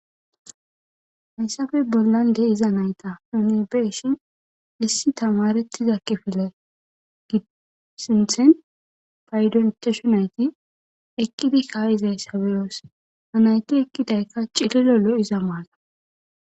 Hayssafe bollan de'iza nayta unibeshi issi tamarettiza kifile gisinthen faydontashu nayti ekkidi kaayizay sabiyoos anayti ekkidaykka cililolo iza maala.